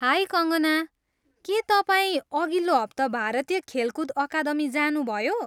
High Kankana, के तपाईँ अघिल्लो हप्ता भारतीय खेलकुद अकादमी जानुभयो?